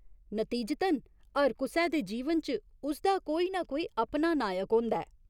नतीजतन, हर कुसै दे जीवन च उसदा कोई नां कोई अपना नायक होंदा ऐ।